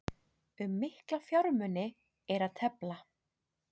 Um mikla fjármuni er að tefla